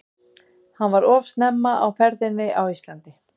Hann var of snemma á ferðinni á Íslandi.